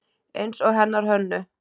Eins og hennar Hönnu.